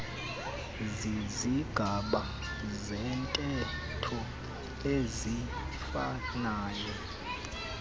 zizigaba zentetho eziifanayo